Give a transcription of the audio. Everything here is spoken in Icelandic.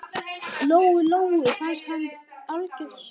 Lóu-Lóu fannst hann algjört svín.